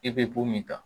I bɛ ko min kan